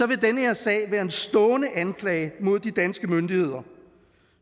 vil den her sag være en stående anklage mod de danske myndigheder